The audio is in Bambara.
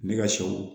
Ne ka sɛw